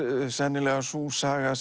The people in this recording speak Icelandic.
sennilega sú saga